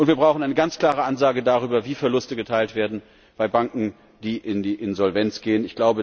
Und wir brauchen eine ganz klare Ansage darüber, wie Verluste geteilt werden bei Banken, die in die Insolvenz gehen.